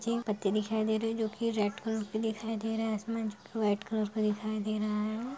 check पत्ती दिखाई दे रही जो कि रेड कलर की दिखाई दे रहा है आसमान छोटा व्हाइट कलर का दिखाई दे रहा है और --